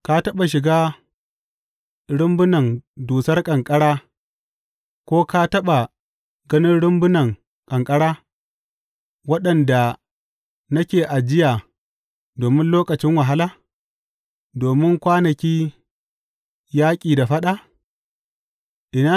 Ka taɓa shiga rumbunan dusar ƙanƙara ko ka taɓa ganin rumbunan ƙanƙara waɗanda nake ajiya domin lokacin wahala, domin kwanakin yaƙi da faɗa?